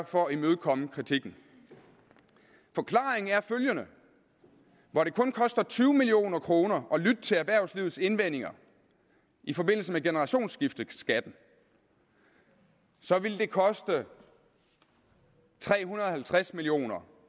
for at imødekomme kritikken forklaringen er følgende hvor det kun koster tyve million kroner at lytte til erhvervslivets indvendinger i forbindelse med generationsskiftebeskatningen ville det koste tre hundrede og halvtreds million kr